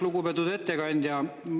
Lugupeetud ettekandja!